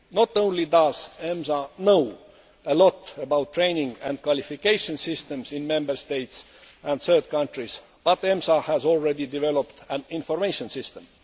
Not only does EMSA know a lot about training and qualification systems in Member States and third countries, but EMSA has already developed an information